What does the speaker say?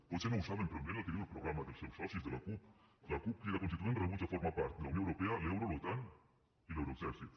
potser no ho saben però mirin el que diu el programa dels seus socis de la cup la cup crida constituent rebutja formar part de la unió europea l’euro l’otan i l’euroexèrcit